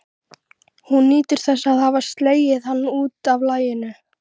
Hún nýtur þess að hafa slegið hann út af laginu.